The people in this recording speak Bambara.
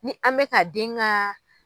Ni an mɛka den ka